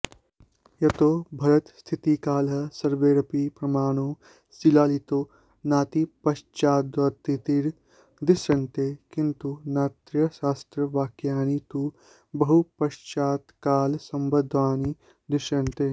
यतो भरतस्थितिकालः सर्वैरपि प्रमाणैः शिलालितो नातिपश्चाद्वर्ती दृश्यते किन्तु नाट्यशास्त्रवाक्यानि तु बहुपश्चात्कालसम्बद्धानि दृश्यन्ते